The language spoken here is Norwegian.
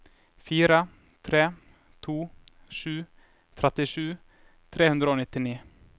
fire tre to sju trettisju tre hundre og nittini